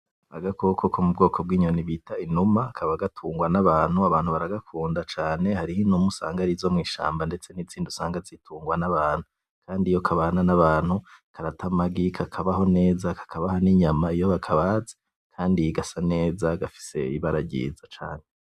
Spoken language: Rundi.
Agakoko ko mu bwoko bw’iyoni bita inuma kaba gatungwa n’abantu, abantu baragakunda cane hariho inuma usanga arizo mw’ishamba ndetse n’izindi usanga zitungwa n’abantu kandi iyo kabana n’abantu karata amagi kakabaho neza kakabaha n’inyama iyo bakabaze kandi gasa neza gafise ibara ryiza cane.